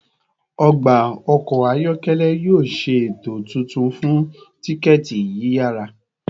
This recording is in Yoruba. Ọgba ọkọ ayọkẹlẹ yoo ṣe eto tuntun fun tikẹti yiyara